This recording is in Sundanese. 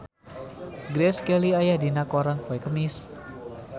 Grace Kelly aya dina koran poe Kemis